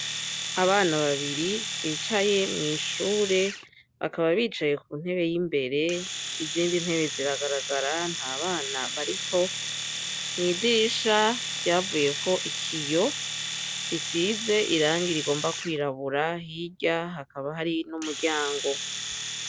Abana babiri bicaye mw'ishure bakaba bicaye ku ntebe y'imbere izindi ntebe ziragaragara nta bana bariko mwidirisha ryavuye ko ikiyo risize irangi rigomba kwirabura hirya hakaba hari n'umuryango.